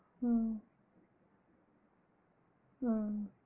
ஆஹ் ஆஹ்